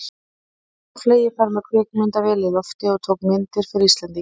Nú var hann á fleygiferð með kvikmyndavél á lofti og tók myndir fyrir Íslendinga.